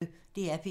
DR P1